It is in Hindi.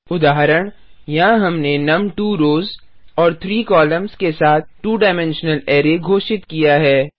उदाहरण यहाँ हमने नुम 2 रॉस और 3 कोलम्न्स के साथ 2 डाइमेंशनल अरै घोषित किया है